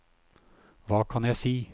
hva kan jeg si